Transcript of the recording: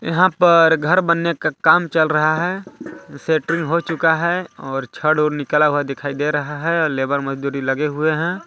यहाँ पर घर बनने का काम चल रहा है सेंट्रिंग हो चुका है और छड़ उड़ निकल हुआ दिखाई दे रहा है और लेबर मजदूरी लगे हुए हैं।